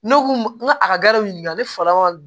Ne ko n ko a ka garibu ɲininka ne fala